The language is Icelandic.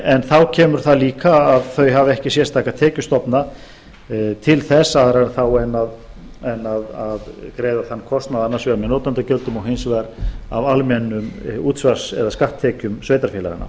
en þá kemur það líka að þau hafa ekki sérstaka tekjustofna til þess aðra en þá að greiða þann kostnað með notendagjöldum og hins vegar af almennu útsvars eða skatttekjum sveitarfélaganna